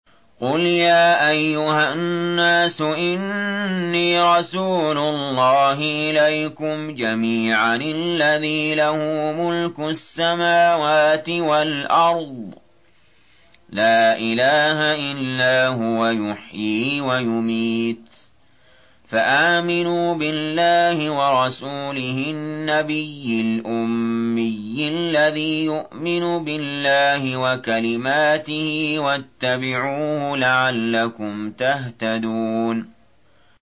قُلْ يَا أَيُّهَا النَّاسُ إِنِّي رَسُولُ اللَّهِ إِلَيْكُمْ جَمِيعًا الَّذِي لَهُ مُلْكُ السَّمَاوَاتِ وَالْأَرْضِ ۖ لَا إِلَٰهَ إِلَّا هُوَ يُحْيِي وَيُمِيتُ ۖ فَآمِنُوا بِاللَّهِ وَرَسُولِهِ النَّبِيِّ الْأُمِّيِّ الَّذِي يُؤْمِنُ بِاللَّهِ وَكَلِمَاتِهِ وَاتَّبِعُوهُ لَعَلَّكُمْ تَهْتَدُونَ